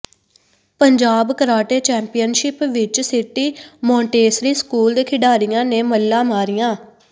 Punjab karate championship ਵਿਚ city Montessori school ਦੇ ਖਿਡਾਰੀਆਂ ਨੇ ਮੱਲਾਂ ਮਾਰੀਆਂ